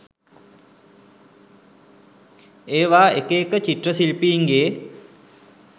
ඒවා එක එක චිත්‍ර ශිල්පීන්ගේ